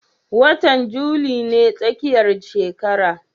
Watan juli ne tsakiyar shekara